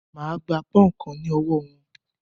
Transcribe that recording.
Máà gba pọ́ùnkan ní ọwọ́ wọn!